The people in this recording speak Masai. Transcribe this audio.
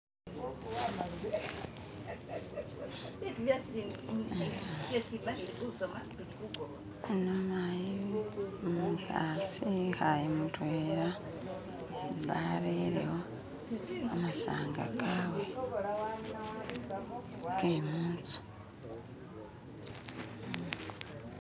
ano mayi umuhasi wihaye mutwela arerewo kamasanga kawe kemunzu